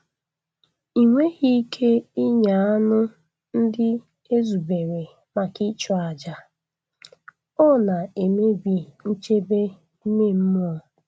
Ị nweghị ike ịnya anụ ndị e zubere maka ịchụ àjà—ọ na-emebi nchebe ime mmụọ.